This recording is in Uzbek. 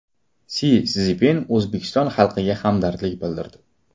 Si Szinpin O‘zbekiston xalqiga hamdardlik bildirdi.